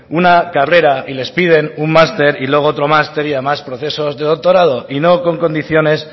una carrera y les piden un máster y luego otros más y además procesos de doctorado y no con condiciones